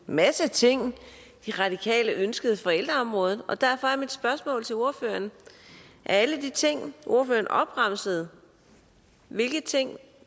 masse ting de radikale ønskede på ældreområdet derfor er mit spørgsmål til ordføreren af alle de ting ordføreren opremsede hvilke ting